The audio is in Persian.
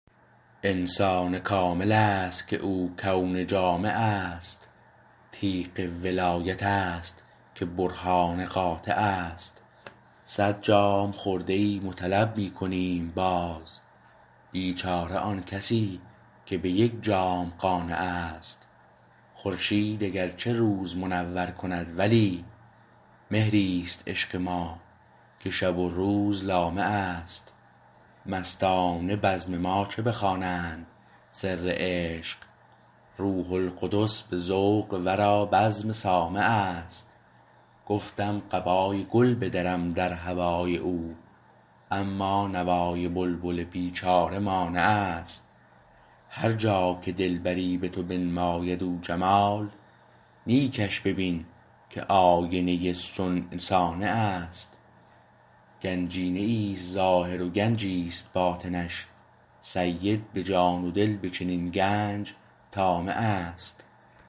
انسان کاملست که او کون جامعست تیغ ولایت است که برهان قاطعست صد جام خورده ایم و طلب می کنیم باز بیچاره آن کسی که به یک جام قانعست خورشید اگر چه روز منور کند ولی مهریست عشق ما که شب و روز لامعست مستان بزم ما چه بخوانند سر عشق روح القدس به ذوق ورا بزم سامعست گفتم قبای گل بدرم در هوای او اما نوای بلبل بیچاره مانعست هر جا که دلبری به تو بنماید او جمال نیکش ببین که آینه صنع صانعست گنجینه ایست ظاهر و گنجی است باطنش سید به جان و دل به چنین گنج طامعست